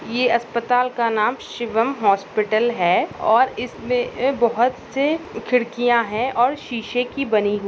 ये अस्पताल का नाम शिवम हॉस्पिटल है और इसमे अ बहोत से खिड्किया है और शिशे की बनी हुई--